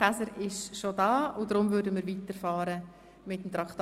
Käser ist bereits anwesend und darum fahren wir nun mit Traktandum 41 weiter.